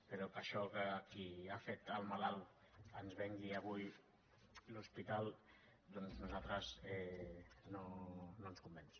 però això que qui ha fet el malalt ens vengui avui l’hospital doncs a nosaltres no ens convenç